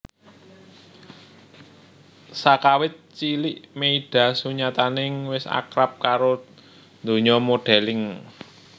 Sakawit cilik Meyda sunyatane wis akrab karo donya modeling